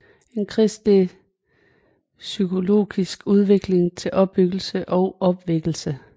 En christelig psychologisk Udvikling til Opbyggelse og Opvækkelse